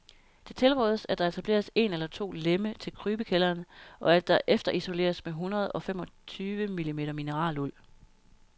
Det tilrådes, at der etableres en eller to lemme til krybekælderen, og at der efterisoleres med hundrede og femogtyve mm mineraluld.